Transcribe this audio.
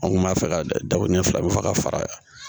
An kun b'a fɛ ka dabɔ ɲɛ fila be fɛ ka fara